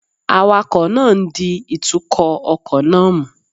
Awakọ̀ náà ń di ìtukọ̀ ọkọ̀ náà mú